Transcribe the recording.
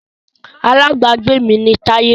Alábágbé mi ni Táyé